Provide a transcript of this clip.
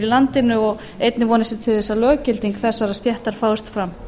landinu og einnig vonast ég til þess að löggilding þessarar stéttar fáist fram